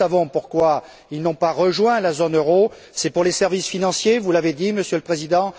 Nous savons pourquoi il n'a pas rejoint la zone euro c'est à causes des services financiers, vous l'avez dit, Monsieur le Président.